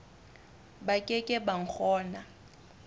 ba ke ke ba kgona